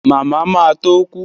Màmá ma tó kú